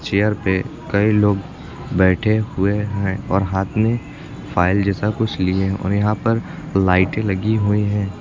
Chair पे कई लोग बैठे हुए हैं और हाथ में फाइल जैसा कुछ लिए और यहां पर लाइटें लगी हुई हैं।